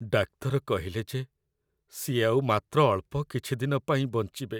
ଡାକ୍ତର କହିଲେ ଯେ ସିଏ ଆଉ ମାତ୍ର ଅଳ୍ପ କିଛି ଦିନ ପାଇଁ ବଞ୍ଚିବେ ।